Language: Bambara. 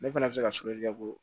Ne fana bɛ se ka ka bɔ